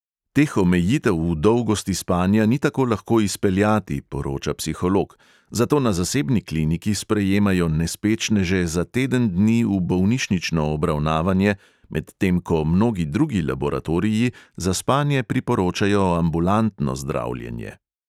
Teh omejitev v dolgosti spanja ni tako lahko izpeljati," poroča psiholog, "zato na zasebni kliniki sprejemajo "nespečneže" za teden dni v bolnišnično obravnavanje, medtem ko mnogi drugi laboratoriji za spanje priporočajo ambulantno zdravljenje."